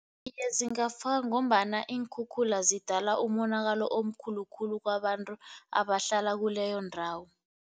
Iye, zingafakwa ngombana iinkhukhula zidala umonakalo omkhulu khulu kwabantu abahlala kuleyo ndawo.